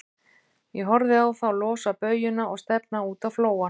Ég horfði á þá losa baujuna og stefna út á flóann.